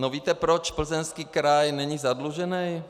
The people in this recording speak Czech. No víte, proč Plzeňský kraj není zadlužený?